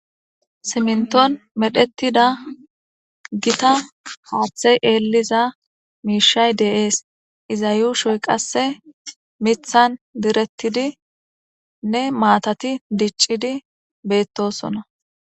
Simnton medhettida gita hoaphithey eelliza miishay deees iza yuushoy qasse mithan direttidinne maatati diccidi beettosona